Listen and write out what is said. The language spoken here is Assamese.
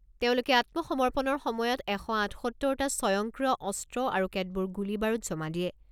তেওঁলোকে আত্মসমৰ্পণৰ সময়ত এশ আঠসত্তৰ টা স্বয়ংক্ৰিয় অস্ত্ৰ আৰু কেতবোৰ গুলী বাৰুদ জমা দিয়ে।